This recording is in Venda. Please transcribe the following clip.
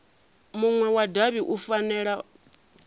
munwe wa davhi u fanela